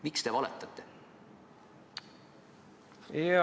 Miks te valetate?